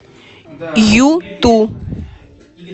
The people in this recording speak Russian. юту